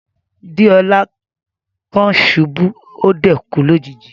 Deola kan ṣubu, o dẹ̀ kú lójijì.